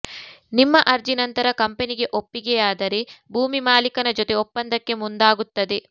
ನಿಮ್ಮ ಅರ್ಜಿ ನಂತರ ಕಂಪನಿಗೆ ಒಪ್ಪಿಗೆಯಾದರೆ ಭೂಮಿ ಮಾಲೀಕನ ಜೊತೆ ಒಪ್ಪಂದಕ್ಕೆ ಮುಂದಾಗುತ್ತದೆ